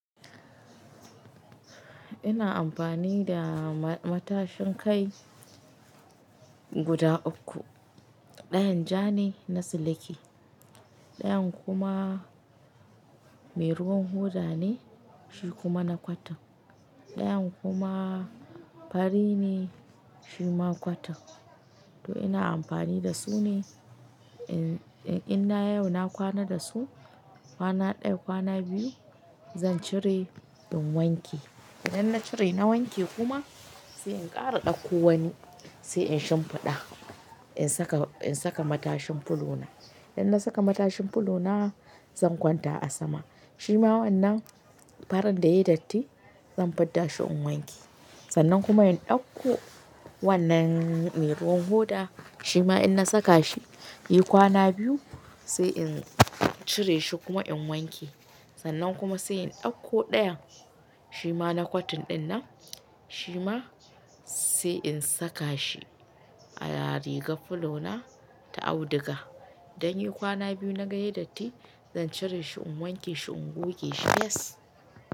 Ina amfani da matashin kai guda uku. Ɗayan ja ne na siliki. Ɗayan kuma mai ruwan hoda ne, shi kuma na cotton. Ɗayan kuma fari ne, shi ma cotton. To ina amfani da su ne. In, in na yau na kwana da su, kwana ɗaya, kwana biyu zan cire in wanke. Idan na cire na wanke kuma sai in ƙara ɗakko wani sai in shimfiɗa. In saka, in saka matashin fulo na. Idan na saka matashin fulo na zan kwanta a sama. Shi ma wannan farar da ya yi datti zan fidɗa shi in wanke. Sannan kuma in ɗauko wannan mai ruwan hoda shi ma in na saka shi, yi kwana biyu sai in cire shi kuma in wanke. Sannan kuma sai in ɗauko ɗayan shi ma na cotton ɗin nan shi ma sai in saka shi a rigar fulo na ta auduga. Idan yayi kwana biyu na ga ya yi datti zan cire shi in wanke shi in goge shi, fes.